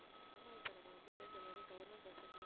ஆமா இப்ப நம்ம வந்து இந்த மாதிரி government bus